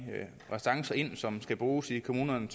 restancer som skal bruges i kommunerne